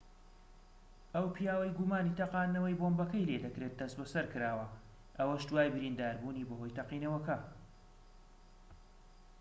ئەو پیاوەی گومانی تەقاندنەوەی بۆمبەکەی لێدەکرێت دەستبەسەرکراوە ئەوەش دوای برینداربوونی بەهۆی تەقینەوەکە